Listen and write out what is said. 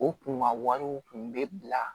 U kun ka wariw tun bɛ bila